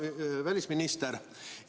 Hea välisminister!